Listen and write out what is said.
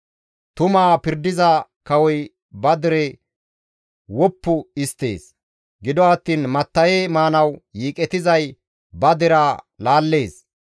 Tumaa pirdiza kawoy ba dere woppu histtees; gido attiin matta7e maanaas yiiqetizay ba deraa laallees.